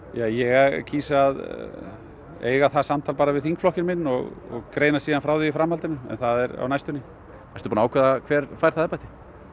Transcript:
ég kýs að eiga það samtal bara við þingflokkinn minn og greina síðan frá því í framhaldinu en það er á næstunni ertu búinn að ákveða hver fær það embætti